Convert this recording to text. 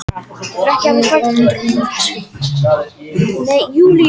Erlendir skákmenn í efstu sætum